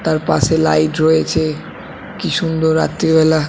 তার পাশে লাইট রয়েছে কি সুন্দর রাত্রিবেলা --